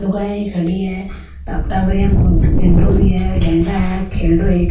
लुगाई खड़ी है टाबरिया का हिंडा भी है झंडा है खेलडो एक।